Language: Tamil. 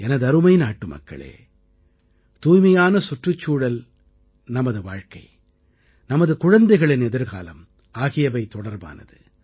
எனதருமை நாட்டுமக்களே தூய்மையான சுற்றுச்சூழல் நமது வாழ்க்கை நமது குழந்தைகளின் எதிர்காலம் ஆகியவை தொடர்பானது